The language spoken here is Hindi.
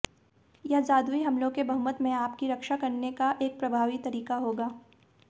यह जादुई हमलों के बहुमत में आपकी रक्षा करने का एक प्रभावी तरीका होगा